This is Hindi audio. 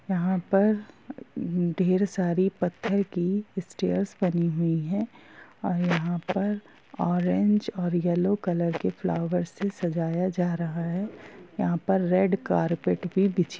यहाँ पर ढेर सारी पत्थर की स्टेयर्स बनी हुई है और यहाँ पर ऑरेंज और येलो कलर के फ्लावर से सजाया जा रहा है। यहाँ पर रेड कार्पट भी बिछी--